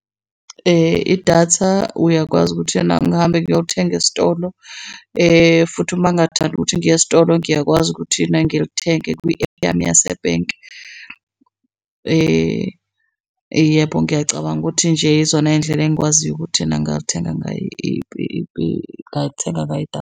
Idatha uyakwazi ukuthi ena ngihambe ngiyothenga esitolo, futhi uma ngathandi ukuthi ngiye esitolo ngiyakwazi ukuthi ena ngithenge kwi-app yami yasebhenki. Yebo, ngiyacabanga ukuthi nje izona iy'ndlela engikwaziyo ukuthi ena ngingalithenga ngingayithenga ngayo idatha.